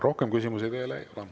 Rohkem küsimusi teile ei ole.